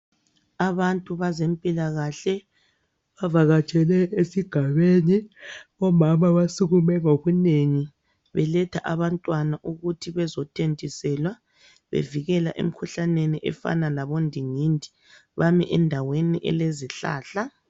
Abantu bezempilakahle bavakatshele esigabeni, omama basukume ngobunengi beletha abantwana ukuthi bezothontiselwa bevikela emikhuhlaneni efana labondingindi, bami endaweni elezihlahla.